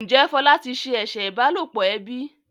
Njé Fola tí se eṣe ìbálòpọ̀ ẹbí?